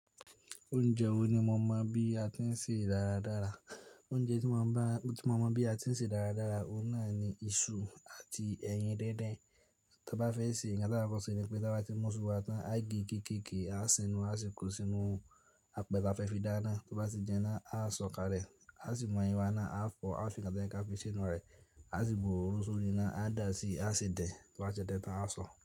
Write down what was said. Oúnjẹ wo ni mo mọ̀ bí a ti ń sè dáradára? Oúnjẹ tí mo mọ̀ bí a ti ń sè dáradára, ó náà ni iṣu àti ẹyin díndín. Tí a bá fẹ́ sè, ìyẹn náà tí a fẹ́ sè ni pé tí a bá ti mú iṣu wa tán, á gẹ gẹ́gẹ́ gé, á sínú, á sì kó sínú apẹ̀ta fẹ́ fi dáná. Tí a bá ti jẹná, á sọ̀ kale, á sì mú ẹyin wa ná, á fọ̀, á fi nǹkan tí ẹ fi sè ná rẹ̀, á sì bu òru sórí ná, á dà á sí, á sì dẹ̀. Tí a ṣe tán tán, á sọ̀